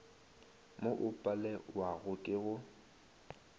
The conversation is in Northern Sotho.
mo o palewago ke go